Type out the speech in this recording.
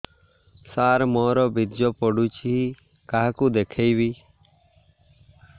ସାର ମୋର ବୀର୍ଯ୍ୟ ପଢ଼ୁଛି କାହାକୁ ଦେଖେଇବି